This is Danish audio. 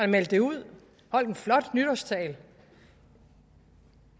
meldte det ud holdt en flot nytårstale